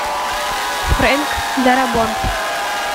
фрэнк дарабонт